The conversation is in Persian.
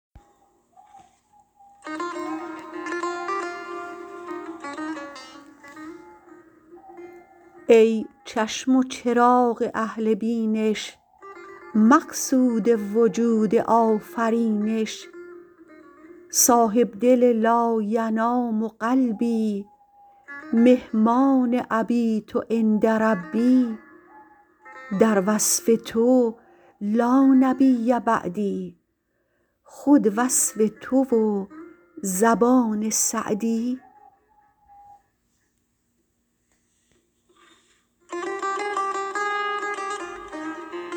ای چشم و چراغ اهل بینش مقصود وجود آفرینش صاحب دل لاینام قلبی مهمان أبیت عند ربی در وصف تو لانبی بعدی خود وصف تو و زبان سعدی